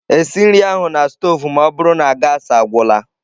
Esi nri ahụ na stovu ma ọ bụrụ na gaasị agwụla!